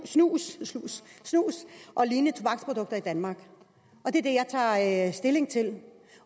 snus snus og lignende tobaksprodukter i danmark det er det jeg tager stilling til